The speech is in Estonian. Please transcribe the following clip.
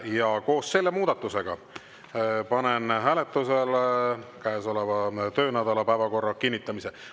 Ja koos selle muudatusega panen hääletusele käesoleva töönädala päevakorra kinnitamise.